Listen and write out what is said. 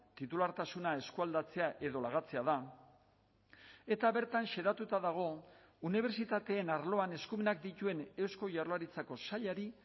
titulartasuna eskualdatzea edo lagatzea da eta bertan xedatuta dago unibertsitateen arloan eskumenak dituen eusko jaurlaritzako sailari